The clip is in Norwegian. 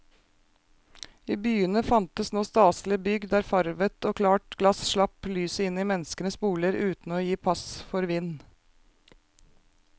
I byene fantes nå staselige bygg der farvet og klart glass slapp lyset inn i menneskenes boliger uten å gi pass for vind.